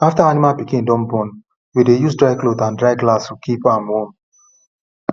after animal pikin don born we dey use dry cloth and dry grass keep am warm